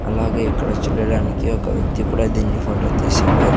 అలాగే ఇక్కడ చూడడానికి ఒక వ్యక్తి కూడా దీన్ని ఫొటో తీశాడు.